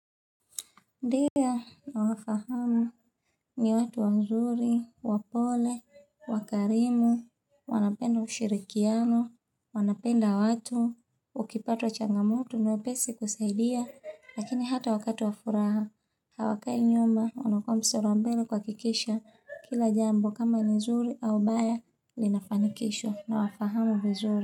Ndiyo, na wafahamu ni watu wanzuri, wapole, wakarimu, wanapenda ushirikiano, wanapenda watu, ukipatwa changamoto na pesi kusaidia, lakini hata wakati wafuraha, hawakai nyuma, wanakua mstari wa mbele kwa kikisha, kila jambo kama nizuri au baya, linafanikisho, na wafahamu vizuri.